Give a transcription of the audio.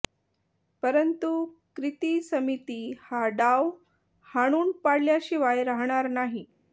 परंतु कृती समिती हा डाव हाणून पाडल्याशिवाय राहणार नाही